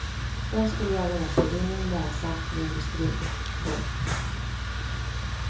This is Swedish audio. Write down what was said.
Den skulle göra återvinning lönsamt för industrin. punkt